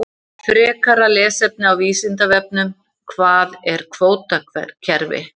Frekara lesefni á Vísindavefnum: Hvað er kvótakerfi?